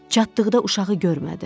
Çatdıqda uşağı görmədim.